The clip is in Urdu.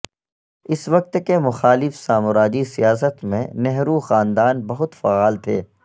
اس وقت کے مخالف سامراجی سیاست میں نہرو خاندان بہت فعال تھے